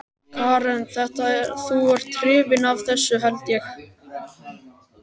Karen: Þetta, þú ert hrifinn af þessu held ég?